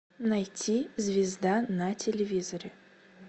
найти звезда на телевизоре